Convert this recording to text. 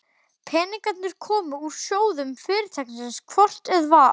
Peningarnir komu úr sjóðum Fyrirtækisins hvort eð var.